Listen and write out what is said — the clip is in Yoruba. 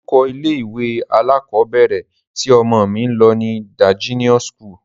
Orúkọ ilé-ìwé alákọọ́bẹ̀rẹ̀ tí ọmọ mí ń lọ ni De-Genius school.